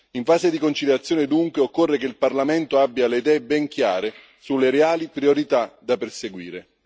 In fase di conciliazione, dunque, occorre che il Parlamento abbia le idee ben chiare sulle reali priorità da perseguire.